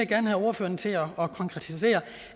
gerne have ordføreren til at konkretisere